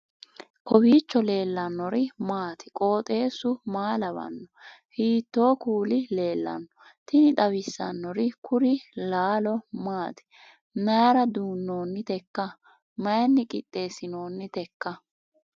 kowiicho leellannori maati ? qooxeessu maa lawaanno ? hiitoo kuuli leellanno ? tini xawissannori kuri laalo maati mayra duunnoonniteikka myinni qixeessinoonniteikka